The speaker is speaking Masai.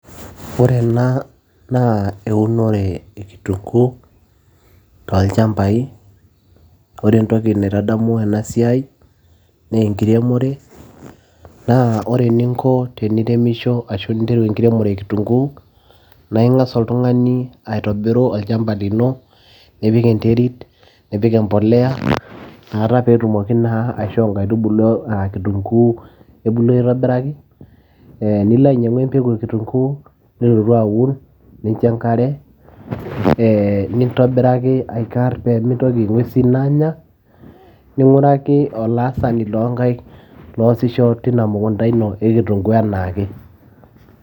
Ore ena eunore e kitunguu tolchambai ore entoki naitadamu ena siai nee enkiremore naa ore eninko teniremisho ashu interu enkiremore e kitunguu naa ing'as oltung'ani aitobiru olchamba lino nipik enterit nipik empoleya nakata peetumoki naa aishoo inkaitubulu e kitunguu ebulu aitobiraki ee nilo ainyiang'u empeku e kitunguu nilotu aun nincho enkare nintobiraki aikarr peemitoki ing'uesin aanya ning'uraki olaasani loonkaik loosisho tina mukunta ino e kitunguu ena ake.